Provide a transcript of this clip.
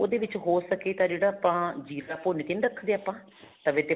ਉਹਦੇ ਵਿੱਚ ਹੋ ਸਕੇ ਤਾਂ ਜਿਹੜਾ ਆਪਾਂ ਜ਼ੀਰਾ ਭੁੰਨ ਕੇ ਨਹੀਂ ਰੱਖਦੇ ਆਪਾਂ ਤਵੇ ਤੇ